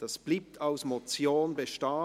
Diese bleibt als Motion bestehen.